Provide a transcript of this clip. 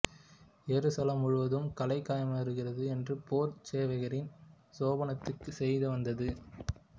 எருசலேம் முழுவதும் கலக்கமாயிருக்கிறது என்று போர்ச் சேவகரின் சேனாபதிக்குச் செய்திவந்தது